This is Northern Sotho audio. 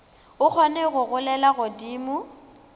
o kgone go golela godimo